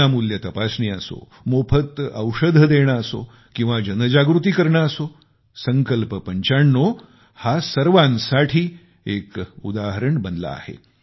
विनामूल्य तपसणी असो मोफत औषध देणे असो किंवा जनजागृती करणे असो संकल्प 95 हा सर्वांसाठी एक उदाहरण बनला आहे